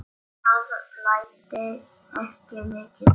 Það blæddi ekki mikið.